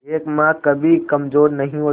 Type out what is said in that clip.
एक मां कभी कमजोर नहीं होती